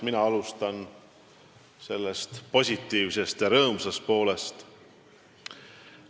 Ma alustan positiivsest ja rõõmsast poolest.